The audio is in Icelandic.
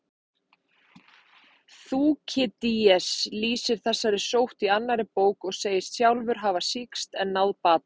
Þúkýdídes lýsir þessari sótt í annarri bók og segist sjálfur hafa sýkst en náð bata.